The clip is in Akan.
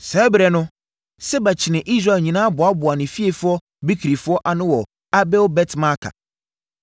Saa ɛberɛ no, Seba kyinii Israel nyinaa boaboaa ne fiefoɔ Bikrifoɔ ano wɔ Abel-Bet-Maaka.